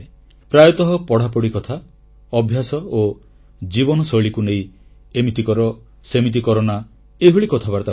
ପ୍ରାୟତଃ ପଢ଼ାପଢ଼ି କଥା ଅଭ୍ୟାସ ଓ ଜୀବନଶୈଳୀକୁ ନେଇ ଏମିତି କର ସେମିତି କରନା ଏହିଭଳି କଥାବାର୍ତ୍ତା ହୁଏ